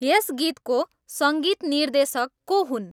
यस गीतको सङ्गीत निर्देषक को हुन्